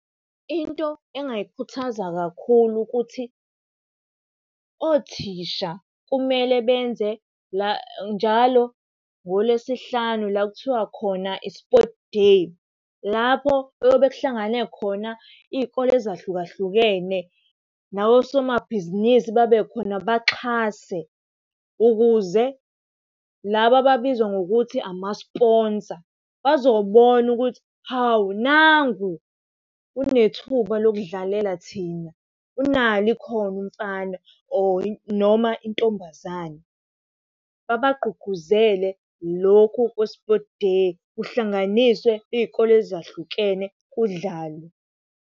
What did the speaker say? Into engingayikhuthaza kakhulu ukuthi othisha kumele benze njalo ngolesihlanu la kuthiwa khona i-sports day. Lapho okuyobe kuhlangane khona iy'kole ezahlukahlukene, nawosomabhizinisi babekhona baxhase ukuze laba ababizwa ngokuthi amasponsa bazobona ukuthi, hawu nangu unethuba lokudlalela thina, unalo ikhono umfana or noma intombazane. Babagqugquzele lokhu kwe-sports day kuhlanganiswe iy'kole ezahlukene kudlalwe.